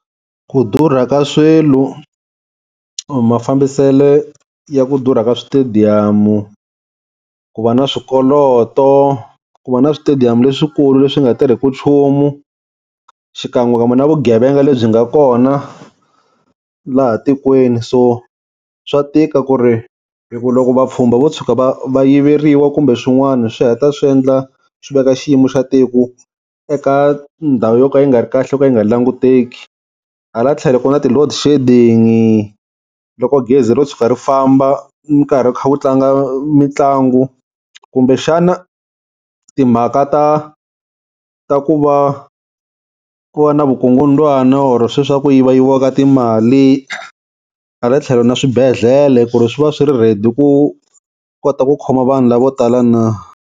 Ku durha ka swilo kumbe mafambisele ya ku durha ka switediyamu, ku va na swikoloto, ku va na switediyamu leswikulu leswi nga tirheku nchumu, xikan'wekan'we na vugevenga lebyi nga kona laha tikweni so swa tika ku ri hi ku loko vapfhumba vo tshuka va va yiveriwa kumbe swin'wana swi heta swi endla swi veka xiyimo xa tiko eka ndhawu yo ka yi nga ri kahle yo ka yi nga languteki. Hala tlhelo ku na ti-loadshedding-i, loko gezi ro tshuka ri famba minkarhi ku kha ku tlanga mitlangu kumbe xana timhaka ta ta ku va ku va na vukungundwana or sweswiya ku yiva yiviwaka timali, hala tlhelo na swibedlele ku ri swi va swi ri ready ku kota ku khoma vanhu lavo tala na.